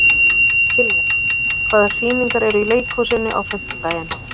Kiljan, hvaða sýningar eru í leikhúsinu á fimmtudaginn?